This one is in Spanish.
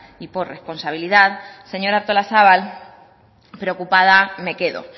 y por responsabilidad señora artolazabal preocupada me quedo